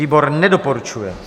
Výbor nedoporučuje.